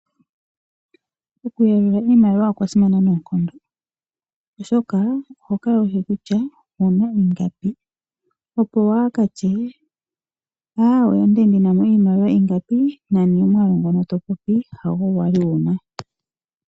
Oku yalula iimaliwa okwa simana noonkondo oshoka, oho kala wushi kutya owu na i nga pi, opo waa ha katye " aawe" onda li ndina mo iimaliwa inga pi nani omwaalu ngono to popi hago wa li wuna.